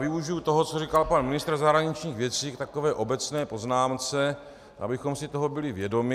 Využiji toho, co říkal pan ministr zahraničních věcí, k takové obecné poznámce, abychom si toho byli vědomi.